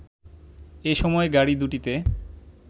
এ সময় গাড়ি দুটিতে